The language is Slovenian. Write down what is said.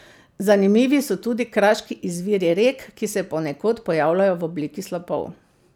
Zanimivi so tudi kraški izviri rek, ki se ponekod pojavljajo v obliki slapov.